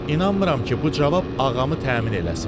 İnanmıram ki, bu cavab ağamı təmin eləsin.